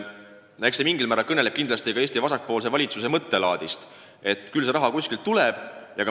Eks see mingil määral kõneleb ka Eesti vasakpoolse valitsuse mõttelaadist, et küll see raha kuskilt tuleb.